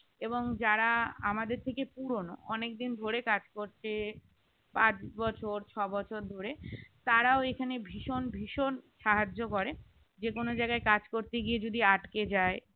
এবং যারা আমাদের থেকে পুরনো অনেকদিন ধরে কাজ করছে পাঁচ বছর ছয় বছর ধরে তারাও এখানে ভীষণ ভীষণ সাহায্য করে যে কোন জায়গায় কাজ করতে গিয়ে যদি আটকে যায়